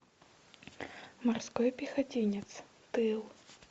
морской пехотинец тыл